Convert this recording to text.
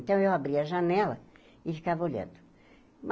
Então, eu abria a janela e ficava olhando.